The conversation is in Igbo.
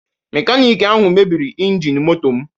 Mekaniki ahụ mebiri injin motom